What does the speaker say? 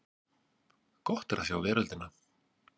Gott er að sjá veröldina!